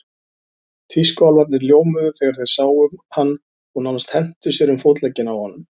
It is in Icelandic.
Tískuálfarnir ljómuðu þegar þeir sáum hann og nánast hentu sér um fótleggina á honum.